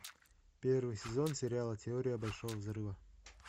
первый сезон сериала теория большого взрыва